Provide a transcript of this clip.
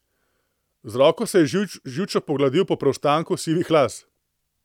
Z roko se je živčno pogladil po preostanku sivih las.